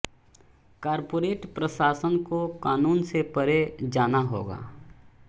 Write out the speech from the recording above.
corporate प्रशासन को क़ानून से परे जाना होगा